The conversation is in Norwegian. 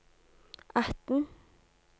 atten